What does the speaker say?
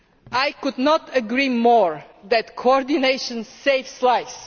I could not agree more that coordination saves lives.